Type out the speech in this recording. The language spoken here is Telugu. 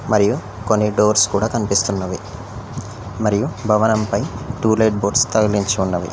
మరియు కొన్ని డోర్స్ కూడా కనిపిస్తున్నవి మరియు భవనంపై టూలేట్ బోర్డ్స్ తగిలించి ఉన్నవి.